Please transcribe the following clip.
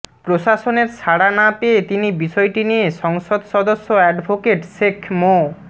প্রশাসনের সাড়া না পেয়ে তিনি বিষয়টি নিয়ে সংসদ সদস্য অ্যাডভোকেট শেখ মো